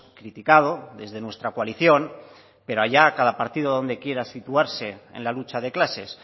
criticado desde nuestra coalición pero allá cada partido dónde quiera situarse en la lucha de clases